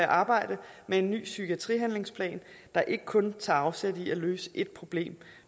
arbejde med en ny psykiatrihandlingsplan der ikke kun tager afsæt i at løse et problem